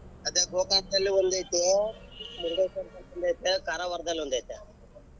ಅದೇ ಗೋಕರ್ಣದಲ್ಲಿ ಒಂದ್ ಐತೆ ಮುರಡೇಶ್ವರದಲ್ಲಿ ಒಂದ್ ಐತೆ ಕಾರವಾರದಲ್ಲಿ ಒಂದ್ ಐತೆ.